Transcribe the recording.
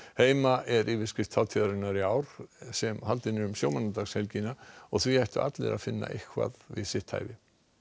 heima er yfirskrift hátíðarinnar í ár sem haldin er um sjómannadagshelgina og því ættu allir að finna eitthvað við sitt hæfi